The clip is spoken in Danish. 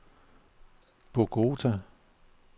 Bogota